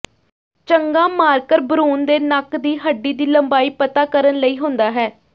ਚੰਗਾ ਮਾਰਕਰ ਭਰੂਣ ਦੇ ਨੱਕ ਦੀ ਹੱਡੀ ਦੀ ਲੰਬਾਈ ਪਤਾ ਕਰਨ ਲਈ ਹੁੰਦਾ ਹੈ